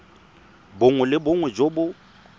bongwe le bongwe jo bo